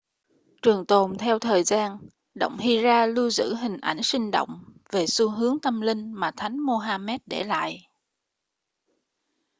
trường tồn theo thời gian động hira lưu giữ hình ảnh sinh động về xu hướng tâm linh mà thánh mohamed để lại